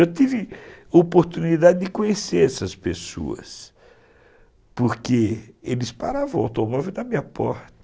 Eu tive oportunidade de conhecer essas pessoas, porque eles paravam o automóvel na minha porta.